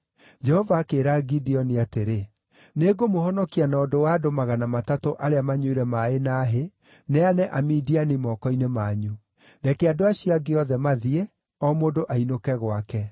Jehova akĩĩra Gideoni atĩrĩ, “Nĩngũmũhonokia na ũndũ wa andũ magana matatũ arĩa manyuire maaĩ na hĩ, neane Amidiani moko-inĩ manyu. Reke andũ acio angĩ othe mathiĩ, o mũndũ ainũke gwake.”